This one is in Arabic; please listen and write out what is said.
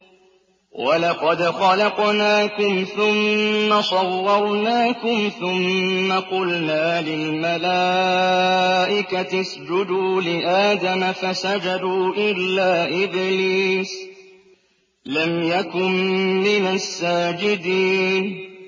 وَلَقَدْ خَلَقْنَاكُمْ ثُمَّ صَوَّرْنَاكُمْ ثُمَّ قُلْنَا لِلْمَلَائِكَةِ اسْجُدُوا لِآدَمَ فَسَجَدُوا إِلَّا إِبْلِيسَ لَمْ يَكُن مِّنَ السَّاجِدِينَ